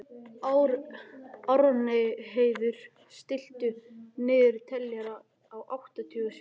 Árnheiður, stilltu niðurteljara á áttatíu og sjö mínútur.